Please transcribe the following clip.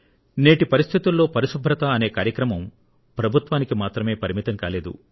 నేటి పరిస్థితుల్లో పరిశుభ్రత అనే కార్యక్రమం ప్రభుత్వానికి మాత్రమే పరిమితం కాలేదు